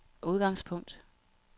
udgangspunkt